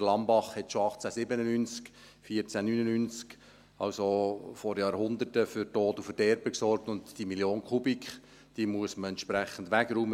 Der Lammbach sorgte schon 1897 und 1499, also vor Jahrhunderten, für Tod und Verderben und diese eine Million Kubikmeter muss man entsprechend wegräumen.